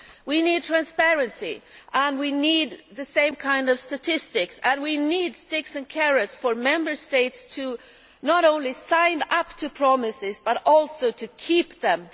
We need transparency, and we need the same kind of statistics and we need sticks and carrots for Member States, not only to sign up to promises, but also to keep them.